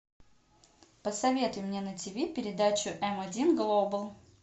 посоветуй мне на тиви передачу м один глобал